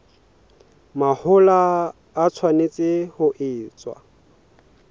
mahola e tshwanetse ho etswa